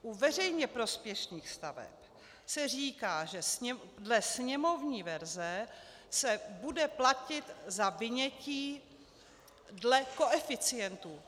U veřejně prospěšných staveb se říká, že dle sněmovní verze se bude platit za vynětí dle koeficientů.